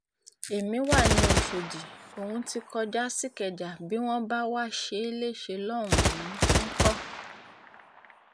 èmi wa ni ọ̀ṣọ́dì òun ti kọjá sìkẹjà bí wọ́n bá wáá ṣe é léṣe lọ́hùn-ún ńkọ́